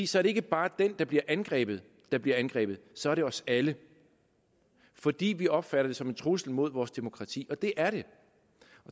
så er det ikke bare den der bliver angrebet der bliver angrebet så er det os alle fordi vi opfatter det som en trussel mod vores demokrati og det er det